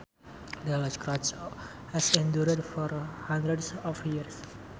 The church has endured for hundreds of years